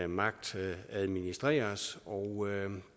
magt administreres og